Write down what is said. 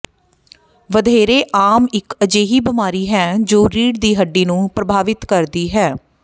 ਵਧੇਰੇ ਆਮ ਇੱਕ ਅਜਿਹੀ ਬੀਮਾਰੀ ਹੈ ਜੋ ਰੀੜ੍ਹ ਦੀ ਹੱਡੀ ਨੂੰ ਪ੍ਰਭਾਵਿਤ ਕਰਦੀ ਹੈ